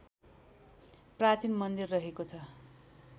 प्राचीन मन्दिर रहेको छ